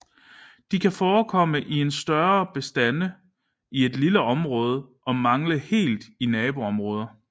De kan forekomme i større bestande i et lille område og mangle helt i naboområder